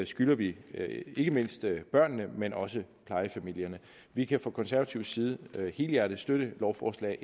skylder vi ikke mindst børnene men også plejefamilierne vi kan fra konservativ side helhjertet støtte lovforslag